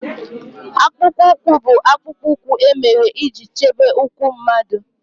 Akpụkpọ ụkwụ bụ akpụkpọ ụkwụ e mere iji chebe ụkwụ mmadụ